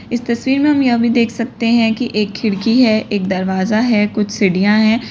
इस तस्वीर में हम यह भी देख सकते है कि एक खिड़की है एक दरवाजा है कुछ सीढ़ियां हैं।